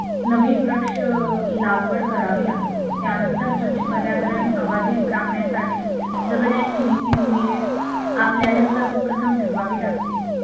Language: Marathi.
नवीन वृक्ष लागवड करावी लागेल त्यानंतर स्वच्छ पर्यावरण अबाधित राखण्यासाठी जगण्याची नीती मूल्य आपल्याला सर्वप्रथम ठरवावी लागतील